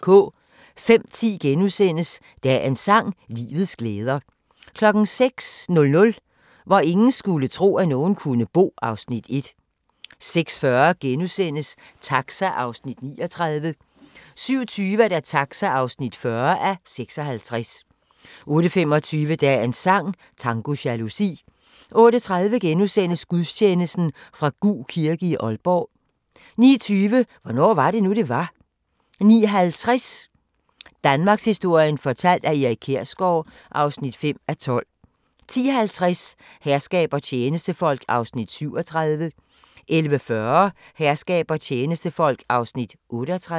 05:10: Dagens sang: Livets glæder * 06:00: Hvor ingen skulle tro, at nogen kunne bo (Afs. 1) 06:40: Taxa (39:56)* 07:20: Taxa (40:56) 08:25: Dagens sang: Tango jalousi 08:30: Gudstjeneste fra Gug kirke, Aalborg * 09:20: Hvornår var det nu, det var? 09:50: Danmarkshistorien fortalt af Erik Kjersgaard (5:12) 10:50: Herskab og tjenestefolk (37:68) 11:40: Herskab og tjenestefolk (38:68)